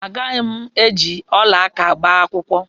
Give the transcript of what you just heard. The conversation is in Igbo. Agaghị m eji ọla aka agba akwụkwọ.